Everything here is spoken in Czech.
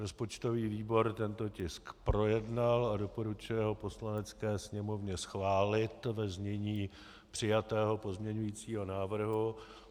Rozpočtový výbor tento tisk projednal a doporučuje ho Poslanecké sněmovně schválit ve znění přijatého pozměňovacího návrhu.